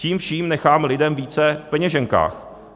Tím vším necháme lidem více v peněženkách.